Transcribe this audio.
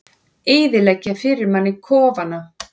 Eyðileggja fyrir manni kofana!